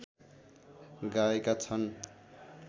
गाएका छन्